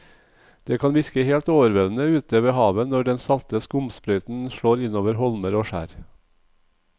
Det kan virke helt overveldende ute ved havet når den salte skumsprøyten slår innover holmer og skjær.